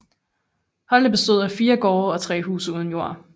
Holte bestod af fire gårde og tre huse uden jord